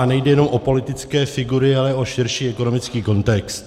A nejde jenom o politické figury, ale o širší ekonomický kontext.